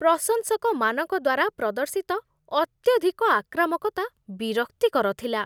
ପ୍ରଶଂସକମାନଙ୍କ ଦ୍ୱାରା ପ୍ରଦର୍ଶିତ ଅତ୍ୟଧିକ ଆକ୍ରାମକତା ବିରକ୍ତିକର ଥିଲା।